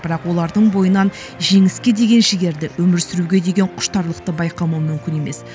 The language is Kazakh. бірақ олардың бойынан жеңіске деген жігерді өмір сүруге деген құштарлықты байқамау мүмкін емес